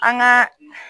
An ka